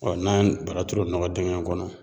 n'an bara turu o nɔgɔ dingɛ kɔnɔ